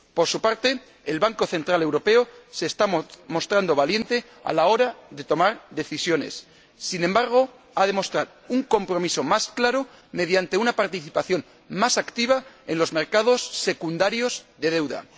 Por su parte, el Banco Central Europeo se está mostrando valiente a la hora de tomar decisiones sin embargo, ha de mostrar un compromiso más claro mediante una participación más activa en los mercados secundarios de deuda.